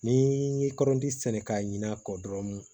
Ni ye kɔrɔnti sɛnɛ k'a ɲin'a kɔ dɔrɔn